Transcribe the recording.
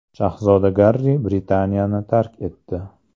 Shahzoda Garri Britaniyani tark etdi.